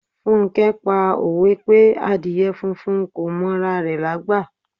Funke pa òwe pé Àdíè funfun kò m'ora rẹ̀ lágbà.